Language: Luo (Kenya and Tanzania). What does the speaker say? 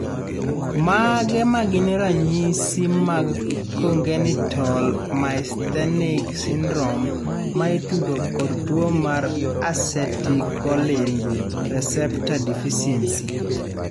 Mage magin ranyisi mag Congenital myasthenic syndrome maitudo kod tuo mar acetylcholine receptor deficiency?